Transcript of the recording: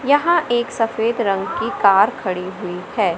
यहां एक सफेद रंग की कार खड़ी हुई है।